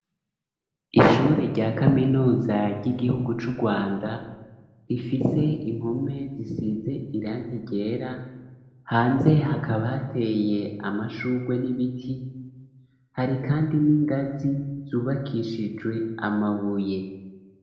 Ishure rya kaminuza ry'igihugu cu Rwanda rifise impume zisize irangi ryera hanze hakaba hateye amashurwe n'ibiti hari kandi n'ingazi zubakishijwe amabuye.